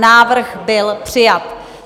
Návrh byl přijat.